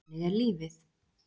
Þannig er lífið.